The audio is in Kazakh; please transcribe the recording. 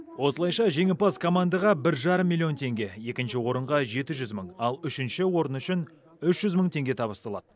осылайша жеңімпаз командаға бір жарым миллион теңге екінші орынға жеті жүз мың ал үшінші орын үшін үш жүз мың теңге табысталады